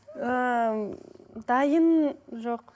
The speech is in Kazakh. ыыы дайын жоқ